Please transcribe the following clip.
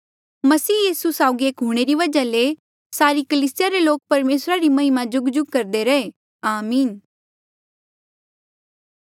मसीह यीसू साउगी एक हूंणे री वजहा ले सारे कलीसिया रे लोक परमेसरा री महिमा जुगजुग करदे रहे आमीन